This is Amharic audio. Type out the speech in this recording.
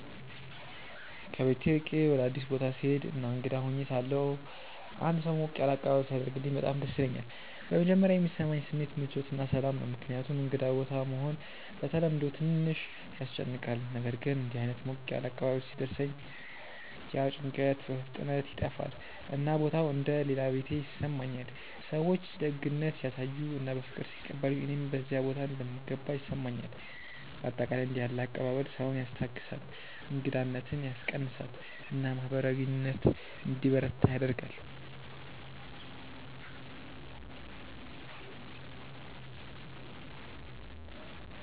ከቤት ርቄ ወደ አዲስ ቦታ ስሄድ እና እንግዳ ሆኜ ሳለሁ አንድ ሰው ሞቅ ያለ አቀባበል ሲያደርግልኝ በጣም ደስ ይለኛል። በመጀመሪያ የሚሰማኝ ስሜት ምቾት እና ሰላም ነው፣ ምክንያቱም እንግዳ ቦታ መሆን በተለምዶ ትንሽ ያስጨንቃል። ነገር ግን እንዲህ ዓይነት ሞቅ ያለ አቀባበል ሲደርሰኝ ያ ጭንቀት በፍጥነት ይጠፋል፣ እና ቦታው እንደ “ ሌላ ቤቴ ” ይሰማኛል። ሰዎች ደግነት ሲያሳዩ እና በፍቅር ሲቀበሉኝ እኔም በዚያ ቦታ እንደምገባ ይሰማኛል። በአጠቃላይ እንዲህ ያለ አቀባበል ሰውን ያስታግሳል፣ እንግዳነትን ያስቀንሳል እና ማህበራዊ ግንኙነት እንዲበረታ ያደርጋል።